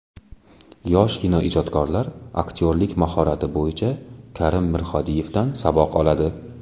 Yosh kinoijodkorlar aktyorlik mahorati bo‘yicha Karim Mirhodiyevdan saboq oladi.